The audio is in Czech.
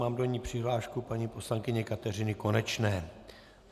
Mám do ní přihlášku paní poslankyně Kateřiny Konečné.